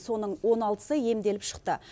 соның он алтысы емделіп шықты